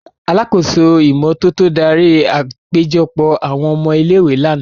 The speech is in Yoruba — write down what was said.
Alakoso imototo dari apejọpọ awọn ọmọ ile-iwe làná.